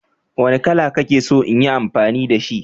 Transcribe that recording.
Wanne kala kake so in yi amfani da shi